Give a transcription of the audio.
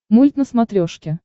мульт на смотрешке